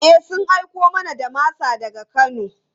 E, sun aiko mana da masa daga Kano.